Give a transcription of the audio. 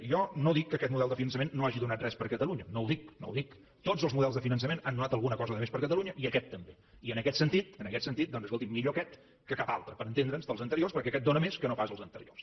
i jo no dic que aquest model de finançament no hagi donat res per a catalunya no ho dic no ho dic tots els models de finançament han donat alguna cosa de més per a catalunya i aquest també i en aquest sentit en aquest sentit doncs escoltin millor aquest que cap altre per entendre’ns dels anteriors perquè aquest dóna més que no pas els anteriors